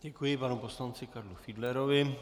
Děkuji panu poslanci Karlu Fiedlerovi.